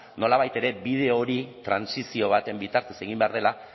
nolabait ere bide hori trantsizio baten bitartez egin behar dela